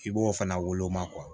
I b'o fana woloma